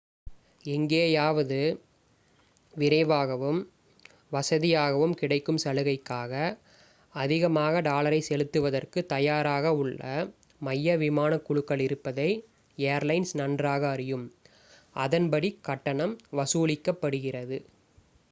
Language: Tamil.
எங்கேயாவது விரைவாகவும் வசதியாகவும் கிடைக்கும் சலுகைக்காக அதிகமான டாலரை செலுத்துவதற்கு தயாராக உள்ள மைய விமான குழுக்கள் இருப்பதை ஏர்லைன்ஸ் நன்றாக அறியும் அதன்படி கட்டணம் வசூலிக்கப்படுகிறது